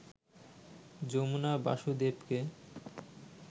Jamuna বাসুদেবকে